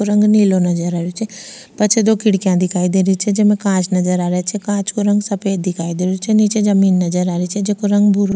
रंग नीलो नजर आ री छे पाछे दो खिड़किया दिखाई देरी छे जेमे कांच नजर आ रेया छे कांच को रंग सफ़ेद दिखाई दे रो छे निचे जमीं नज़र आ री छे जेको रंग भूरो --